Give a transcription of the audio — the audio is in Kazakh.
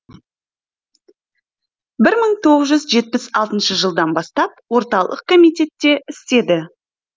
бір мың тоғыз жүз жетпіс алтыншы жылдан бастап орталық комитетте істеді